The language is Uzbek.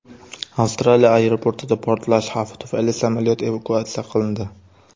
Avstraliya aeroportida portlash xavfi tufayli samolyot evakuatsiya qilindi.